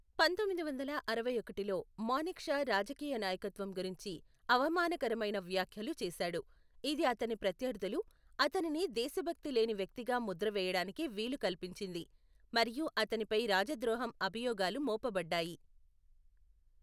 పంతొమ్మిది వందల అరవై ఒకటిలో, మానెక్ షా రాజకీయ నాయకత్వం గురించి అవమానకరమైన వ్యాఖ్యలు చేశాడు, ఇది అతని ప్రత్యర్థులు అతనిని దేశభక్తి లేని వ్యక్తిగా ముద్ర వేయడానికి వీలు కల్పించింది, మరియు అతనిపై రాజద్రోహం అభియోగాలు మోపబడ్డాయి.